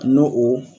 N'o o